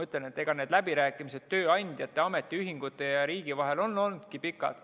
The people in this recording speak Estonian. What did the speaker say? Need läbirääkimised tööandjate, ametiühingute ja riigi vahel on olnudki pikad.